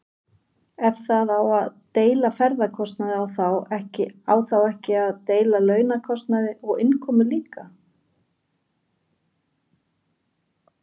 Ef það á að deila ferðakostnaði á þá ekki að deila launakostnaði og innkomu líka?